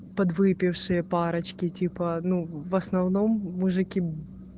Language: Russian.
подвыпившие парочки типа ну в основном мужики